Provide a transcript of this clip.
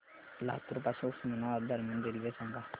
लातूर पासून उस्मानाबाद दरम्यान रेल्वे सांगा